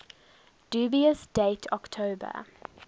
dubious date october